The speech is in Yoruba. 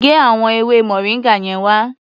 Gé àwọn ewé moringa yẹn wá.